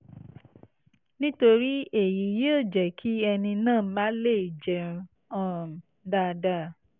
nítorí èyí yóò jẹ́ kí ẹni náà má leè jẹun um dáadáa